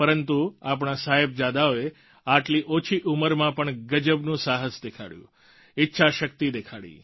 પરંતુ આપણા સાહેબજાદાઓએ આટલી ઓછી ઉંમરમાં પણ ગજબનું સાહસ દેખાડ્યું ઈચ્છાશક્તિ દેખાડી